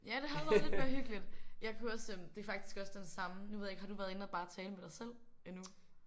Ja det havde været lidt mere hyggeligt. Jeg kunne også øh det er faktisk også den samme nu ved jeg ikke har du været inde og tale bare med dig selv endnu?